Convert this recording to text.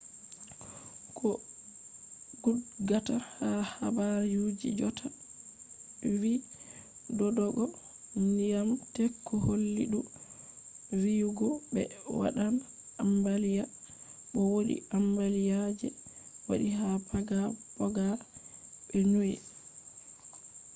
ko gudgata ha habar ji jotta vi dodogo ndyiam teku holli dou viyugo be wadan ambaliya. bo wodi ambaliya je wadi ha paga poga be niue